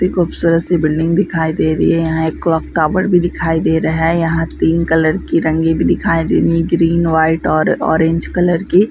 ती खूबसूरत सी बिल्डिंग दिखाई दे रही है यहां एक क्लॉक टॉवर भी दिखाई दे रहा है यहां तीन कलर की रंगी भी दिखाई दे री है ग्रीन व्हाइट और ऑरेंज कलर की।